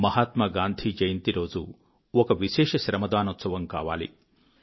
మహాత్మా గాంధీ జయంతి రోజు ఒక విశేష శ్రమదానోత్సవం కావాలి